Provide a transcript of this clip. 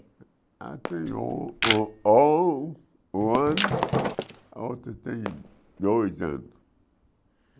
A tem um um um ano, a outra tem dois anos.